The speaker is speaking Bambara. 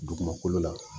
Dugumakolo la